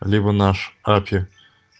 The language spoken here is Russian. либо наш апи